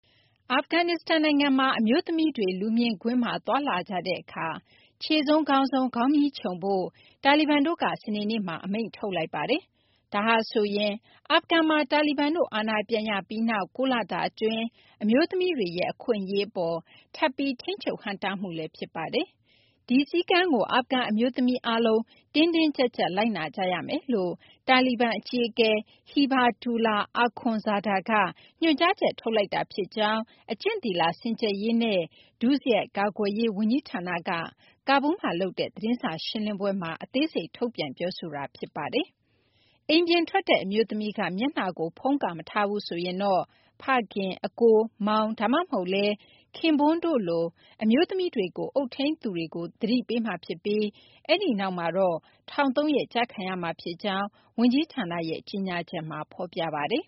အာဖဂန်နစ္စတန်နိုင်ငံမှာ အမျိုးသမီးတွေ လူမြင်ကွင်းမှာ သွားလာကြတဲ့အခါ ခြေဆုံး ခေါင်းဆုံး ခေါင်းမြီးခြုံဖို့ တာလီဘန်တို့က စနေနေ့မှာ အမိန့်ထုတ်လိုက်ပါတယ်။ ဒါဟာဆိုရင် အာဖဂန်မှာ တာလီဘန်တို့ အာဏာပြန်ရပြီးနောက် ၉ လတာအတွင်း အမျိုးသမီးတွေရဲ့ အခွင့်အရေးအပေါ် ထပ်ပြီး ထိန်းချုပ်ဟန့်တားမှုလည်း ဖြစ်ပါတယ်။ ဒီစည်းကမ်းကို အာဖဂန် အမျိုးသမီးအားလုံး တင်းတင်းကျပ်ကျပ် လိုက်နာကြရမယ်လို့ တာလီဘန်အကြီးအကဲ Hibatullah Akhundzada က ညွှန်ကြားချက် ထုတ်လိုက်တာ ဖြစ်ကြောင်း အကျင့်သီလ စင်ကြယ်ရေးနဲ့ ဒုစရိုက်ကာကွယ်ရေး ဝန်ကြီးဌာနက ကာဘူးလ်မှာလုပ်တဲ့ သတင်းစာရှင်းလင်းပွဲမှာ အသေးစိတ် ထုတ်ပြန်ပြောဆိုခဲ့တာ ဖြစ်ပါတယ်။ အိမ်ပြင်ထွက်တဲ့ အမျိုးသမီးက မျက်နှာကို ဖုံးကာမထားဘူးဆိုရင်တော့ ဖခင်၊ အစ်ကို၊ မောင် ဒါမှမဟုတ်လည်း ခင်ပွန်းတို့လို အမျိုးသမီးတွေကို အုပ်ထိန်းသူတွေကို သတိပေးမှာဖြစ်ပြီး အဲဒီနောက်မှာတော့ ထောင် ၃ ရက် ကျခံရမှာဖြစ်ကြောင်း ဝန်ကြီးဌာနရဲ့ ကြေညာချက်မှာ ဖော်ပြပါတယ်